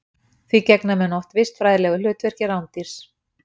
Því gegna menn oft vistfræðilegu hlutverki rándýrs.